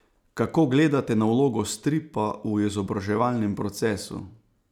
Kako gledate na vlogo stripa v izobraževalnem procesu?